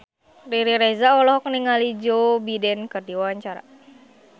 Riri Reza olohok ningali Joe Biden keur diwawancara